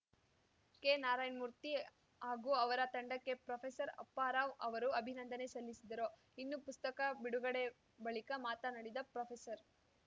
ಕೆನಾರಾಯಣ್ ಮೂರ್ತಿ ಹಾಗೂ ಅವರ ತಂಡಕ್ಕೆ ಪ್ರೊಫೆಸರ್ ಅಪ್ಪಾ ರಾವ್‌ ಅವರು ಅಭಿನಂದನೆ ಸಲ್ಲಿಸಿದರು ಇನ್ನು ಪುಸ್ತಕ ಬಿಡುಗಡೆ ಬಳಿಕ ಮಾತನಾಡಿದ ಪ್ರೊಫೆಸರ್